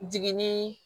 Jiginni